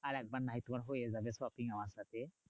আরেকবার না হয় তোমার হয়ে যাবে shopping আমার সাথে।